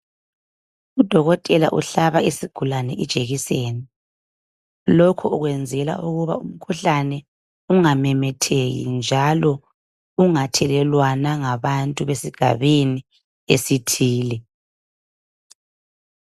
Udokotela uhlaba isigulane ijekiseni lokho ukwenzela ukuba imikhuhlane ingamemetheki njalo ungathelelwana ngabantu besigabeni esithile.